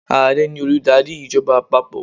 Ààrẹ ni olùdarí ìjọba àpapọ̀.